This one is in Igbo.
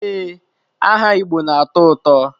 Ee, aha Igbo na-atọ ụtọ.